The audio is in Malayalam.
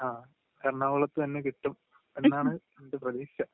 ങാ...എറണാകുളത്ത് തന്നെ കിട്ടും എന്നാണ് എൻ്റെ പ്രതീക്ഷ...